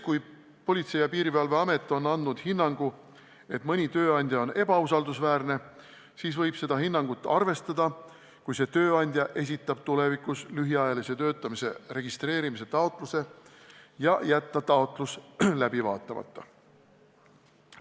Kui Politsei- ja Piirivalveamet on andnud hinnangu, et mõni tööandja on ebausaldusväärne, siis võib seda hinnangut arvestada ka tulevikus, kui seesama tööandja esitab lühiajalise töötamise registreerimise taotluse, ning jätta taotlus läbi vaatamata.